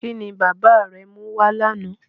Kí ni bàbá rẹ mú wá lánàá?